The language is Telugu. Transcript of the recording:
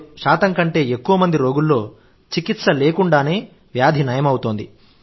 9095 కంటే ఎక్కువ మంది రోగుల్లో చికిత్స లేకుండానే వ్యాధి నయమవుతోంది